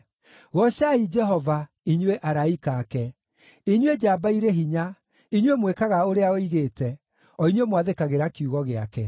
Goocai Jehova, inyuĩ araika ake, inyuĩ njamba irĩ hinya, inyuĩ mwĩkaga ũrĩa oigĩte, o inyuĩ mwathĩkagĩra kiugo gĩake.